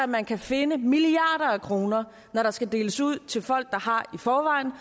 man kan finde milliarder af kroner når der skal deles ud til folk der har i forvejen og